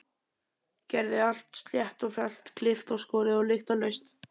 Gerði allt slétt og fellt, klippt og skorið og lyktarlaust.